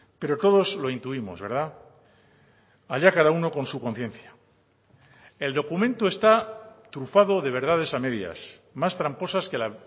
pero todos lo intuimos verdad allá cada uno con su conciencia el documento está trufado de verdades a medias más tramposas que la